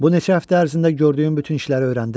Bu neçə həftə ərzində gördüyüm bütün işləri öyrəndim.